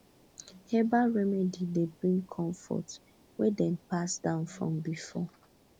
herbal remedy dey bring comfort wey dem pass down from before